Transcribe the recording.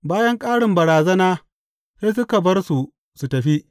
Bayan ƙarin barazana sai suka bar su su tafi.